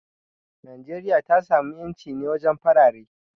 Najeriya ta samu inci ne wajen farare.